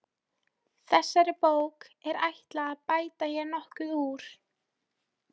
Þessari bók er ætlað að bæta hér nokkuð úr.